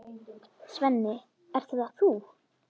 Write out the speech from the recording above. Svenni, ert það þú!?